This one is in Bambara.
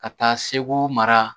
Ka taa segu mara